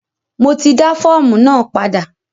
Mo ti dá fọ́ọ̀mù náà padà.